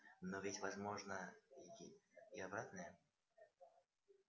но ведь возможно и обратное